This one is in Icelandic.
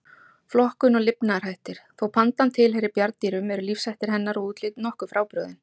Flokkun og lifnaðarhættir Þó pandan tilheyri bjarndýrum eru lífshættir hennar og útlit nokkuð frábrugðin.